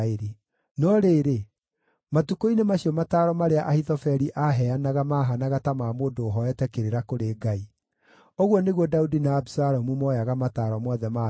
No rĩrĩ, matukũ-inĩ macio mataaro marĩa Ahithofeli aaheanaga maahaanaga ta ma mũndũ ũhooete kĩrĩra kũrĩ Ngai. Ũguo nĩguo Daudi na Abisalomu mooyaga mataaro mothe ma Ahithofeli.